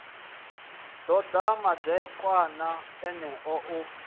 ḓo ḓa madekwana eneo u